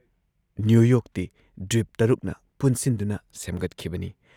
New ꯌꯣꯔꯛꯇꯤ ꯗ꯭ꯋꯤꯞ ꯶ꯅ ꯄꯨꯟꯁꯤꯟꯗꯨꯅ ꯁꯦꯝꯒꯠꯈꯤꯕꯅꯤ ꯫